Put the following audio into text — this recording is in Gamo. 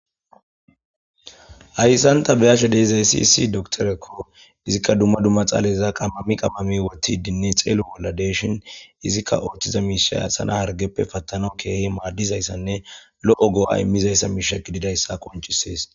Haysan ta be'ashe dizaysi issi doktereko izika duma duma dhaleza qamami qamami utidinne xelo bola de'shen izika othiza mishay asa na'a hargeppe patanawu kehi madizaysanne lo'o go'a imishizaysa misha gididaysa qonc'ises.